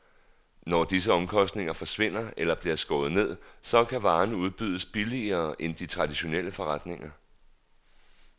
Når disse omkostninger forsvinder eller bliver skåret ned, så kan varerne udbydes billigere end i de traditionelle forretninger.